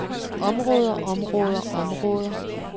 områder områder områder